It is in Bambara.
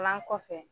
Kalan kɔfɛ